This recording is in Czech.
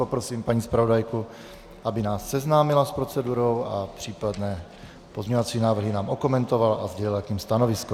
Poprosím paní zpravodajku, aby nás seznámila s procedurou a případné pozměňovací návrhy nám okomentovala a sdělila k nim stanovisko.